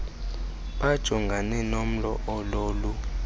bajongane nomlo ololu